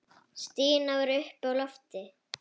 Stína var uppi á lofti.